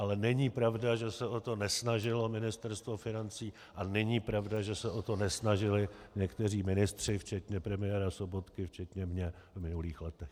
Ale není pravda, že se o to nesnažilo Ministerstvo financí, a není pravda, že se o to nesnažili někteří ministři, včetně premiéra Sobotky, včetně mě v minulých letech.